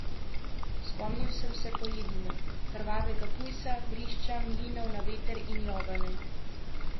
Spomnil sem se pojedine, krvavega pujsa, vrišča, mlinov na veter in Jovane.